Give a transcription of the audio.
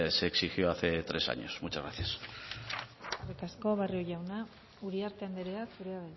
se exigió hace tres años muchas gracias eskerrik asko barrio jauna uriarte anderea zurea